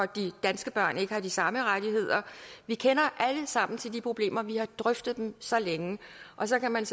de danske børn ikke har de samme rettigheder vi kender alle sammen til de problemer for vi har drøftet dem så længe så kan man